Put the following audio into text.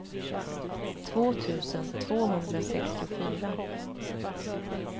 två tusen tvåhundrasextiofyra